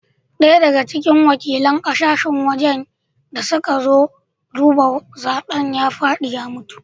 Daya daga cikin wakilan kasashen waje da suka zo duba zaben ya fadi ya mutu